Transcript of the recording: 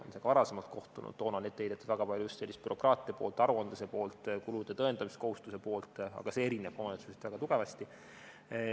Oleme ka varem kohtunud, toona heideti ette väga palju just bürokraatia poolt, aruandluse poolt, kulude tõendamiskohustuse poolt, aga see erineb omavalitsuseti väga tugevasti.